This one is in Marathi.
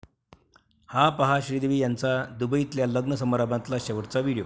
हा पहा श्रीदेवी यांचा दुबईतल्या लग्न समारंभातला शेवटचा व्हिडिओ